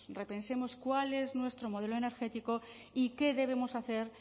repensemos cuál es nuestro modelo energético y qué debemos hacer